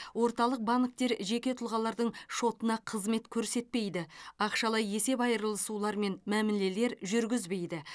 орталық банктер жеке тұлғалардың шотына қызмет көрсетпейді ақшалай есеп айырысулар мен мәмілелер жүргізбейді